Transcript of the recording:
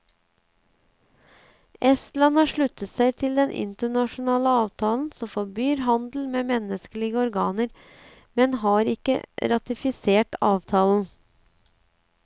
Estland har sluttet seg til den internasjonale avtalen som forbyr handel med menneskelige organer, men har ikke ratifisert avtalen.